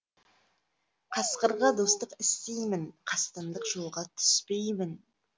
қасқырға достық істеймін қастандық жолға түспеймін